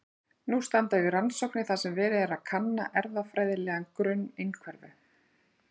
nú standa yfir rannsóknir þar sem verið er að kanna erfðafræðilegan grunn einhverfu